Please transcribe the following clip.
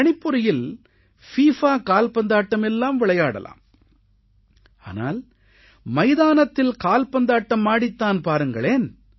கணிப்பொறியில் FIFA கால்பந்தாட்டம் எல்லாம் விளையாடலாம் ஆனால் மைதானத்தில் கால்பந்தாட்டம் ஆடித் தான் பாருங்களேன்